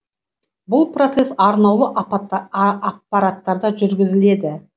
бұл процесс арнаулы аппараттарда жүргізіледі